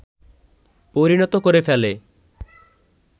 পরিণত করে ফেলে